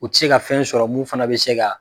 U ti se ka fɛn sɔrɔ mun fana be se ka